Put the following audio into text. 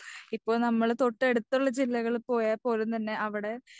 ഇപ്പോഴ് നമ്മള് തൊട്ടടുത്തുള്ള ജില്ലകാളിൽ പോയാൽപോലും തന്നെ അവിടെ